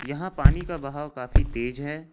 यहां पानी का बहाव काफी तेज है।